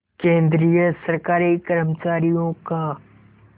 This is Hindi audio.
केंद्रीय सरकारी कर्मचारियों का